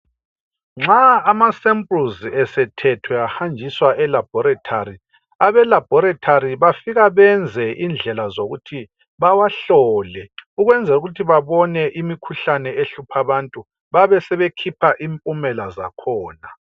Nxa amasempuluzi esethethwe ahanjiswa elaboratory, abe laboratory bafika benze indlela zokuthi bawahlole ukwenzelukuthi babone imikhuhlane ehlupha abantu babesebekhipha impumela zakhona.